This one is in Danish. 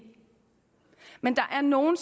men der er nogle